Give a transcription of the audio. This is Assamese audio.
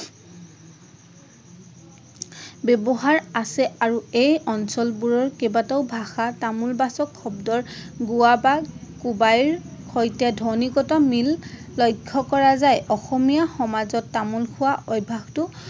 ব্যবহাৰ আছে আৰু এই অঞ্চলৰ কেইবাটাও ভাষা তামোল বাচক শব্দৰ গোৱা বা কুবাইৰ সৈতে ধ্বন্নিগত মিল লক্ষ্য কৰা যায়। অসমীয়া সমাজত তামোল খোৱা অভ্যাসটো